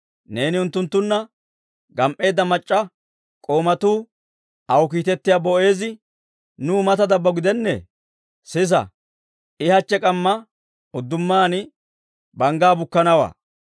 Neeni unttunttuna gam"eedda mac'c'a k'oomatuu aw kiitettiyaa Boo'eezi nuw mata dabbo gidennee? Sisa, I hachche k'amma uddumaan banggaa bukkanawaa.